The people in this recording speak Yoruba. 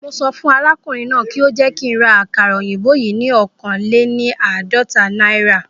Mo sọ fún arákùnrin náà kí ó jẹ́ kí ń ra àkàrà òyìnbó yìí ni oókan léni àádọ́ta náírà